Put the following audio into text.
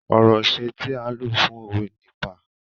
Ọ̀rọ̀ ìṣẹ tí à ń lo fún òwe ni "pa".